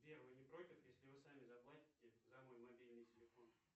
сбер вы не против если вы сами заплатите за мой мобильный телефон